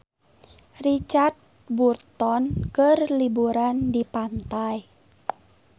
Richard Burton keur liburan di pantai